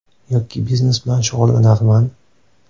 Yoki biznes bilan shug‘ullanarman.